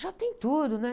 Já tem tudo, né?